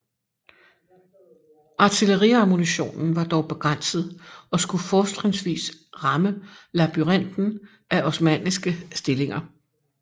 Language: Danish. Artilleriammunitionen var dog begrænset og skulle fortrinsvis ramme labyrinten af osmanniske stillinger